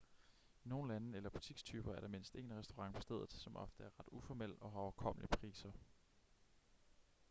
i nogle lande eller butikstyper er der mindst én restaurant på stedet som ofte er ret uformel og har overkommelige priser